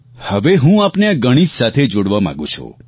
હવે હું આપને આ ગણીત સાથે જોડવા માંગુ છું